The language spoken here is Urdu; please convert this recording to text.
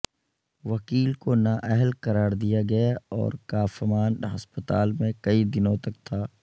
وکیل کو نااہل قرار دیا گیا اور کافمان ہسپتال میں کئی دنوں تک تھا